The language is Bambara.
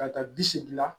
Ka taa bi segin na